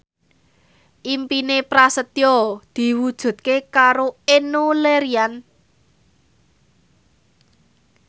impine Prasetyo diwujudke karo Enno Lerian